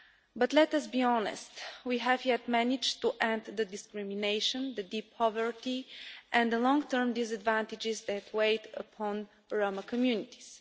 But let us be honest, we have not yet managed to end the discrimination, the deep poverty and the long term disadvantages that have weighed on Roma communities.